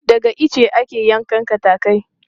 Daga ice ake yanko katakai.